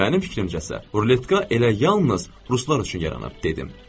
Mənim fikrimcə isə ruletka elə yalnız ruslar üçün yaranıb, dedim.